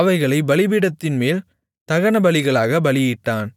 அவைகளைப் பலிபீடத்தின்மேல் தகனபலிகளாகப் பலியிட்டான்